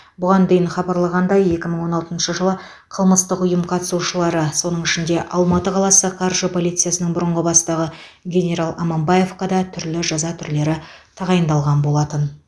бұған дейін хабарланғандай екі мың он алтыншы жылы қылмыстық ұйым қатысушылары соның ішінде алматы қаласы қаржы полициясының бұрынғы бастығы генерал аманбаевқа да түрлі жаза түрлері тағайындалған болатын